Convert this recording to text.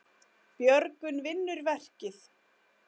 Björgun vinnur verkið.